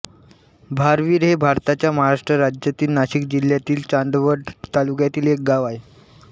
भारविर हे भारताच्या महाराष्ट्र राज्यातील नाशिक जिल्ह्यातील चांदवड तालुक्यातील एक गाव आहे